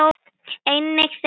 Einnig þeim búnast vel.